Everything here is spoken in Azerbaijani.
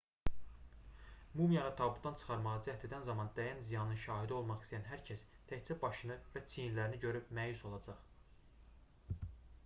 mumiyanı tabutdan çıxarmağa cəhd edən zaman dəyən ziyanın şahidi olmaq istəyən hər kəs təkcə başını və çiyinlərini görüb məyus olacaq